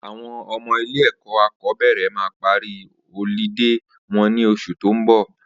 Awọn ọmọ ilé ẹkọ akọbẹrẹ mà pàrí ọ̀lídé wọn ni óṣú tó n bọ